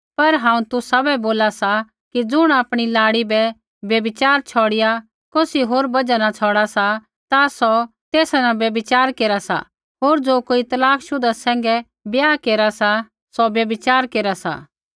पर हांऊँ तुसाबै बोला सा कि ज़ुण आपणी लाड़ी बै व्यभिचार छ़ौड़िआ कौसी होरी बजहा न छ़ौड़ा सा ता सौ तेसा न व्यभिचार केरा सा होर ज़ो कोई तलाक शुधा सैंघै ब्याह केरा सा सौ व्यभिचार केरा सा